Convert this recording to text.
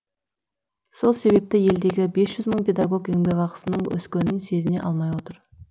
сол себепті елдегі бес жүз мың педагог еңбекақысының өскенін сезіне алмай отыр